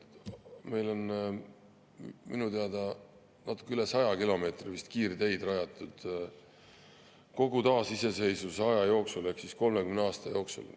Meil on minu teada natuke üle 100 kilomeetri kiirteid rajatud kogu taasiseseisvusaja jooksul ehk 30 aasta jooksul.